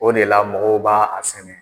O de la mɔgɔw b'a a sɛnɛ.